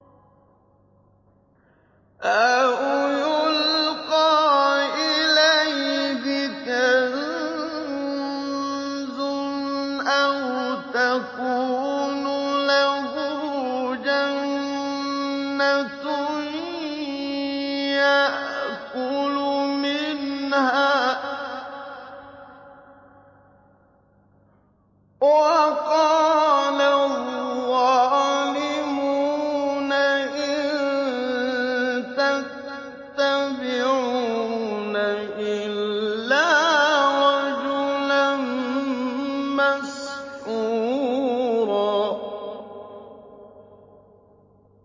أَوْ يُلْقَىٰ إِلَيْهِ كَنزٌ أَوْ تَكُونُ لَهُ جَنَّةٌ يَأْكُلُ مِنْهَا ۚ وَقَالَ الظَّالِمُونَ إِن تَتَّبِعُونَ إِلَّا رَجُلًا مَّسْحُورًا